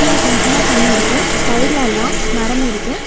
கீழ கொஞ்சமா தண்ணி இருக்கு சைடுல எல்லா மரம் இருக்கு.